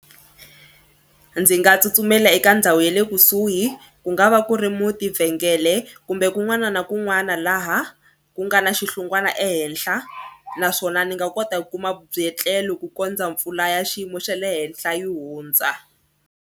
Ndzi nga tsutsumela eka ndhawu ya le kusuhi ku nga va ku ri munti. vhengele kumbe kun'wana na kun'wana laha ku nga na xihlungwana ehenhla naswona ni nga kota ku kuma byetlelo ku kondza mpfula ya xiyimo xa le henhla yi hundza.